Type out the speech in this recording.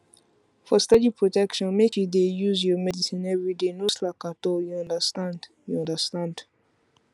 for steady protection make you dey use your medicine everyday no slack at all you understand you understand